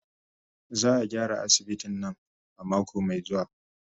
Za a gyara asibitin nan a mako mai zuwa.